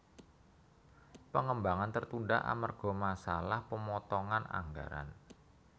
Pengembangan tertunda amerga masalah pemotongan anggaran